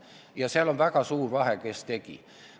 Ja seal on väga suur vahe, kes mida tegi.